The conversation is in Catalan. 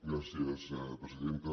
gràcies presidenta